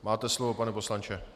Máte slovo, pane poslanče.